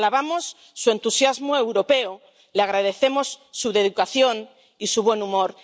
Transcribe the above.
alabamos su entusiasmo europeo, le agradecemos su dedicación y su buen humor.